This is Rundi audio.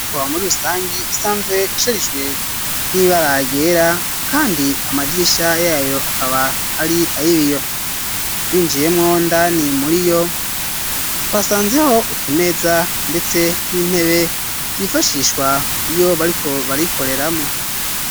Muri rusangi isanzwe isherijwe n'ibara ryera kandi amadirisha yayo akaba ari ayi biyo twinjiyemwo indani muri yo twasanzeho utumeza ndetse n'intebe vyifashishwa iyo bariko barayikoreramwo.